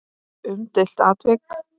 Umdeilt atvik?